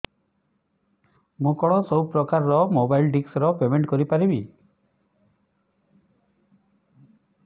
ମୁ କଣ ସବୁ ପ୍ରକାର ର ମୋବାଇଲ୍ ଡିସ୍ ର ପେମେଣ୍ଟ କରି ପାରିବି